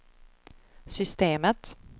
systemet